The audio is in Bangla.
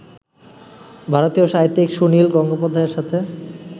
ভারতীয় সাহিত্যিক সুনীল গঙ্গোপাধ্যায়ের সাথে